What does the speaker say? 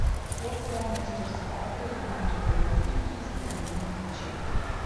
фото мастерская по ремонту обуви и изготовлению ключей